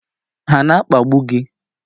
Ha na akpagbu gị?